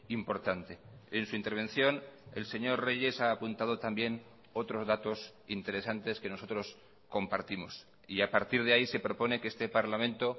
importante en su intervención el señor reyes ha apuntado también otros datos interesantes que nosotros compartimos y a partir de ahí se propone que este parlamento